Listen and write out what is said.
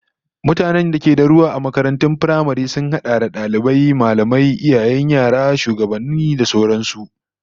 Mutanen da ke da ruwa a makarantun firamare sun hada da dalibai, mallamai, iyayen yara, shugabanni da sauran su